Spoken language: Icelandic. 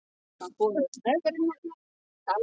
Vona að þetta fyrirhitti þig hressan og kátan.